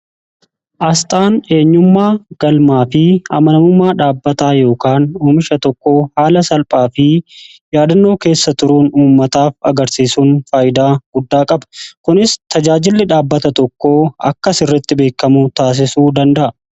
Asxaan eenyummaa galmaa fi amanamummaa dhaabbataa yookaan uumisha tokko haala salphaa fi yaadannoo keessa turuun umummataaf agarsiisuun faayidaa guddaa qaba kunis tajaajilli dhaabbata tokko akkas irritti beekamu taasisuu danda'a.